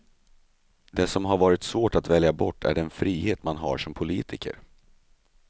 Det som har varit svårt att välja bort är den frihet man har som politiker.